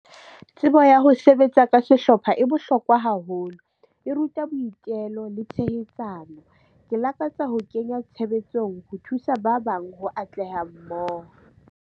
Tsebo ya ho sebetsa ka sehlopha e bohlokwa haholo, e ruta boitelo le tshehetsano. Ke lakatsa ho kenya tshebetsong ho thusa ba bang ho atleha mmoho.